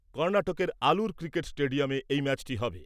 কর্নাটকের আলুর ক্রিকেট স্টেডিয়ামে এই ম্যাচটি হবে।